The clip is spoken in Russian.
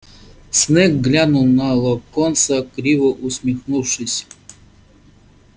снегг глянул на локонса криво усмехнувшись